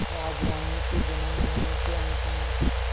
राजरानीसी जन्मभूमि के अंक में